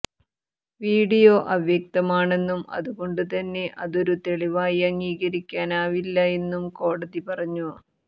video അവ്യക്തമാണെന്നും അതുകൊണ്ടുതന്നെ അതൊരു തെളിവായി അംഗീകരിക്കാനാവില്ല എന്നും കോടതി പറഞ്ഞു